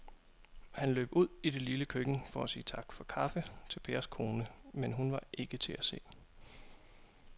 Han løb ud i det lille køkken for at sige tak for kaffe til Pers kone, men hun var ikke til at se.